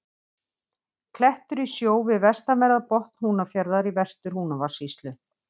Klettur í sjó við vestanverðan botn Húnafjarðar í Vestur-Húnavatnssýslu.